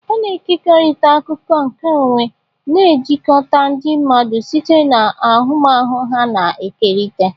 A na-ekekọrịta akụkọ nkeonwe, na-ejikọta ndị mmadụ site na ahụmahụ ha na-ekerịta.